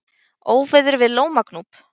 Óveður við Lómagnúp